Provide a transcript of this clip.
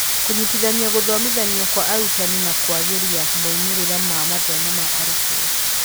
Kũnyitithania gũthomithanio kwa arutani na kũagĩria moimĩrĩra ma mathomo ma arutwo.